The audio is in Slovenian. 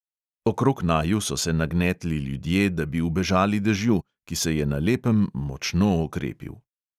Okrog naju so se nagnetli ljudje, da bi ubežali dežju, ki se je na lepem močno okrepil.